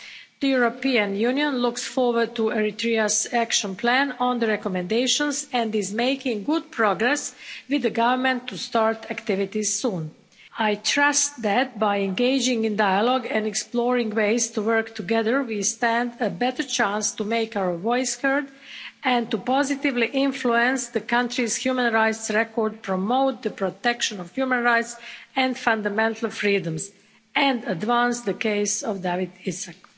The European Union looks forward to Eritrea's action plan on the recommendations and is making good progress with the Government to start activities soon. I trust that, by engaging in dialogue and exploring ways to work together, we stand a better chance to make our voice heard and to positively influence the country's human rights record, promote the protection of human rights and fundamental freedoms, and advance the case of Dawit Isaak.